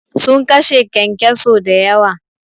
Sun kashe kyankyaso da yawa.